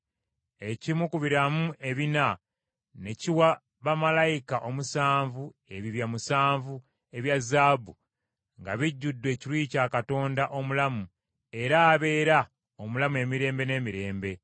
Ekimu ku biramu ebina ne kiwa bamalayika omusanvu ebibya musanvu ebya zaabu nga bijjudde ekiruyi kya Katonda omulamu era abeera omulamu emirembe n’emirembe.